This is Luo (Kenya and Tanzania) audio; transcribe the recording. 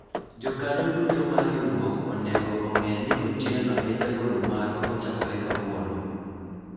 Jokanyo duto mar riwruok onego ong'e ni Otieno e jagoro marwa kochakore kawuono